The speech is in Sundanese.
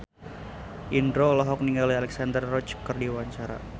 Indro olohok ningali Alexandra Roach keur diwawancara